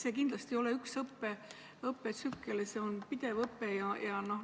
See kindlasti ei ole õppetsükkel, see on pidev õpe.